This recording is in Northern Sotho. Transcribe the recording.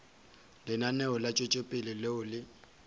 lenaneo la tšwetšopele leo le